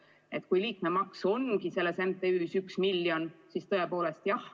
Ja kui liikmemakse ongi MTÜ-s üks miljon, siis tõepoolest, jah ...